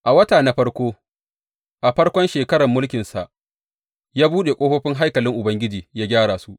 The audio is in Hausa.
A wata na farkon a farkon shekarar mulkinsa, ya buɗe ƙofofin haikalin Ubangiji ya gyara su.